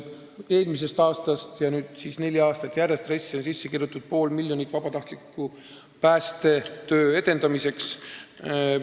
Eelmisest aastast ja nüüd siis neli aastat järjest on RES-i sisse kirjutatud pool miljonit eurot vabatahtliku päästetöö edendamiseks.